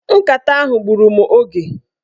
Nkata ahụ gburu mụ oge.